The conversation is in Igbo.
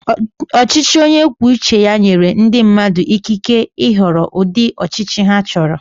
Ọchịchị onye kwuo uche ya nyere ndị mmadụ ikike ịhọrọ ụdị ọchịchị ha chọrọ.